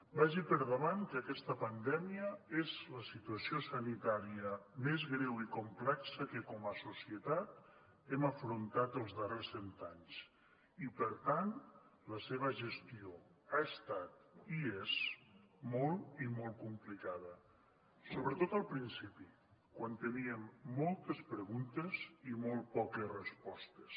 vagi per davant que aquesta pandèmia és la situació sanitària més greu i complexa que com a societat hem afrontat els darrers cent anys i per tant la seva gestió ha estat i és molt i molt complicada sobretot al principi quan teníem moltes preguntes i molt poques respostes